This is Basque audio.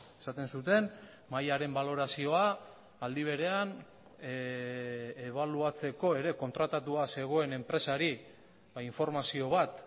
esaten zuten mahaiaren balorazioa aldi berean ebaluatzeko ere kontratatua zegoen enpresari informazio bat